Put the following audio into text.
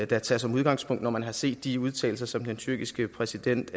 da tage som udgangspunkt når man har set de udtalelser som den tyrkiske præsident